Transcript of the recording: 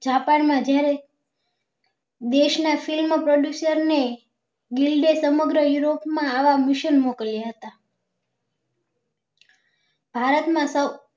Japan માં જયારે દેશ ના film ની produser એ સમગ્ર guil માં આવા yurop મોકલ્યા હતા ભારત માં સૌ